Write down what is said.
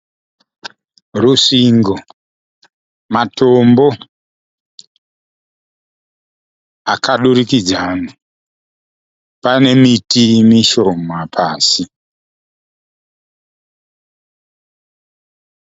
Rusvingo, matombo akadurukidzana, paine miti mishoma pasi.